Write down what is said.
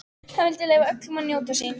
Hann vildi leyfa öllum að njóta sín.